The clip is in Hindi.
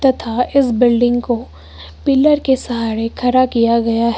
तथा इस बिल्डिंग को पिलर के सहारे खड़ा किया गया है।